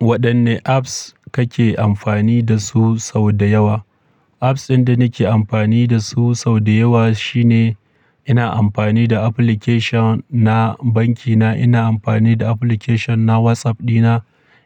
Waɗanne apps kake amfani da su sau da yawa? Apps ɗin da nake amfani da su sau da yawa shine ina amfani da application na banki na, ina amfani da application na WhatsApp dina,